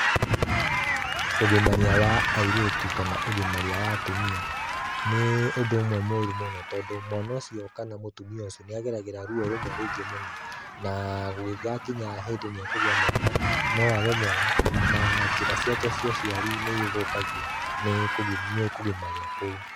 Ũgimaria wa airĩtu kana ũgimaria wa atumia, nĩ ũndũ ũmwe mũru mũno tondũ mwana ũcio kana mũtumia ũcio nĩageragĩra ruo rũmwe rũingĩ mũno, na gũgĩgakinya hĩndĩ nĩekũgĩa mwana, no age mwana na njĩra ciake cia ũciari nĩ ithũkagio nĩ kũgimario kũu.